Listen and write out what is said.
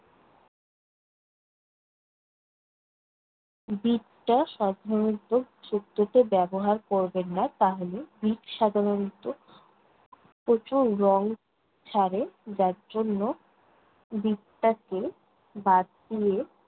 বিটটা সাধারণত শুক্তোতে ব্যবহার করবেন না। তাহলে বিট সাধারণত প্রচুর রং ছাড়ে, যার জন্য বিটটাকে বাদ দিয়ে